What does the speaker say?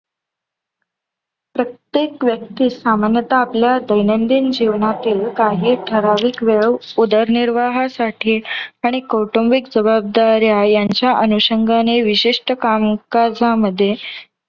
प्रत्येक व्यक्तीस सामान्यतः आपल्या दैनंदिन जीवनातील काही ठराविक वेळ, उदर निर्वाहासाठी आणि कौटुंबिक जवाबदाऱ्या यांच्या अनुषंगाने विशिष्ट कामकाजामध्ये